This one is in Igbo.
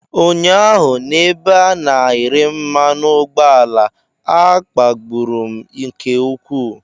Ụnyaahụ n'ebe a na-ere mmanu ugboala, a kpagburu m nke ukwuu.